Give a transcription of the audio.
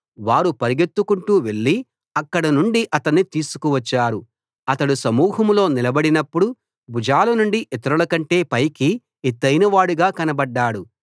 వారు పరుగెత్తుకుంటూ వెళ్ళి అక్కడి నుండి అతణ్ణి తీసుకువచ్చారు అతడు సమూహంలో నిలబడినప్పుడు భుజాల నుండి ఇతరులకంటే పైకి ఎత్తయినవాడుగా కనబడ్డాడు